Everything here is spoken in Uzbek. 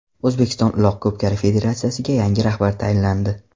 O‘zbekiston Uloq ko‘pkari federatsiyasiga yangi rahbar tayinlandi.